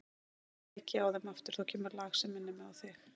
Nú kveiki ég á þeim aftur og þá kemur lag sem minnir mig á þig.